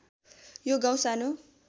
यो गाउँ सानो